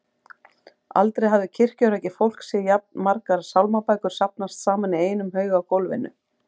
Aldrei hafði kirkjurækið fólk séð jafn margar sálmabækur safnast saman í einum haug á gólfinu.